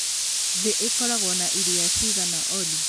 thĩ ĩkoragwo na iria cigana Olly